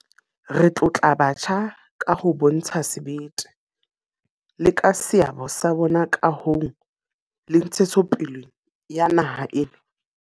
Re tlotla batjha ka ho bontsha sebete, le ka seabo sa bona kahong le ntshetsopeleng ya naha ena.